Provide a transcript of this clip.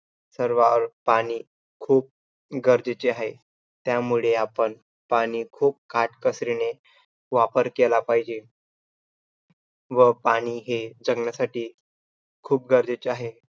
सर्व पाणी खूप गरजेचे आहे. त्यामुळे पाणी आपण खूप काटकसरीने वापर केला पाहिजे. व पाणी हे जगण्यासाठी खूप गरजेचे आहे